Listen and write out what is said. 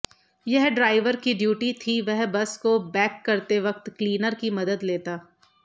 यह ड्राइवर की ड्यूटी थी वह बस को बैक करते वक्त क्लीनर की मदद लेता